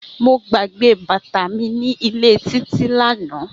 Mo gbagbe bata mi ni ile Titi lana.